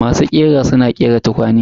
Masu ƙira suna ƙera tukwane.